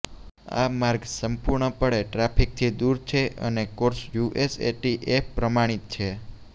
આ માર્ગ સંપૂર્ણપણે ટ્રાફિકથી દૂર છે અને કોર્સ યુએસએટીએફ પ્રમાણિત છે